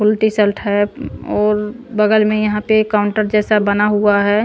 Full T shirt है और बगल में यहाँ पे काउंटर जैसा बना हुआ है।